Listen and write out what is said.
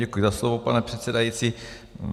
Děkuji za slovo, pane předsedající.